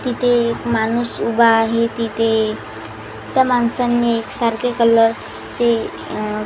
तिथे एक माणूस उभा आहे तिथे त्या माणसांनी एक सारखे कलर्स चे--